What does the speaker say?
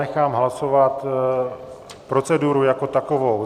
Nechám hlasovat proceduru jako takovou.